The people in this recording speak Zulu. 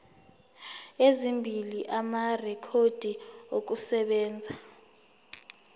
ezimbili amarekhodi okusebenza